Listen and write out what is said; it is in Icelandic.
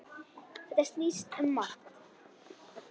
Þetta snýst um margt.